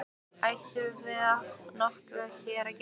Ætli við höfum nokkuð hér að gera?